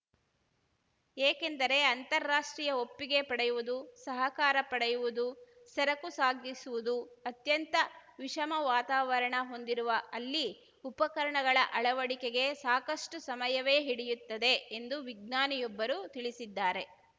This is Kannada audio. ಏಕೆಂದರೆ ಅಂತಾರಾಷ್ಟ್ರೀಯ ಒಪ್ಪಿಗೆ ಪಡೆಯುವುದು ಸಹಕಾರ ಪಡೆಯುವುದು ಸರಕು ಸಾಗಿಸುವುದು ಅತ್ಯಂತ ವಿಷಮ ವಾತಾವರಣ ಹೊಂದಿರುವ ಅಲ್ಲಿ ಉಪಕರಣಗಳ ಅಳವಡಿಕೆಗೆ ಸಾಕಷ್ಟುಸಮಯವೇ ಹಿಡಿಯುತ್ತದೆ ಎಂದು ವಿಜ್ಞಾನಿಯೊಬ್ಬರು ತಿಳಿಸಿದ್ದಾರೆ